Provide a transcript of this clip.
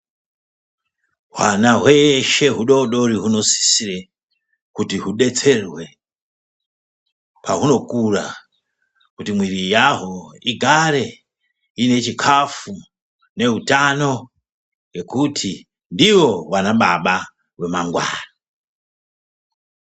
Hwana hweshe hudodoro hunosisire kuti hudetserwe pahunokura kuti mwiri yahwo igare ine chikafu nehutano nekuti ndivo vanababa vamangamwana.